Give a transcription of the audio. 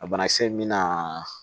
A banakisɛ mina